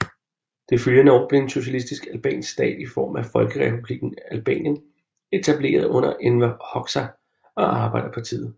Det følgende år blev en socialistisk albansk stat i form af Folkerepublikken Albanien etableret under Enver Hoxha og Arbejderpartiet